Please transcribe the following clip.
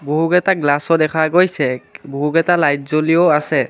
বহুকেইটা গ্লাচও দেখা গৈছে বহুকেইটা লাইট জ্বলিও আছে।